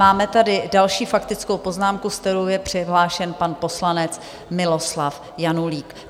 Máme tady další faktickou poznámku, se kterou je přihlášen pan poslanec Miloslav Janulík.